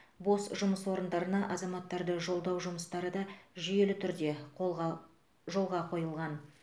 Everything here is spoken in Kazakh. бос жұмыс орындарына азаматтарды жолдау жұмыстары да жүйелі түрде қолға жолға қойылған